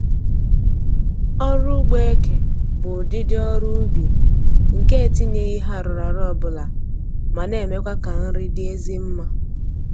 Ọrụ ugbo eke bụ ụdịdị ọrụ ubi nke e etinyeghị ihe arụrụarụ ọbụla ma na-emekwa ka nri dị ezi mma